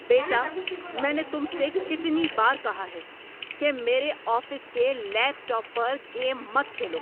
بیٹا، میں نے تم سے کتنی بار کہا ہے کہ میرے آفس کے لیپ ٹاپ پر گیم مت کھیلو؟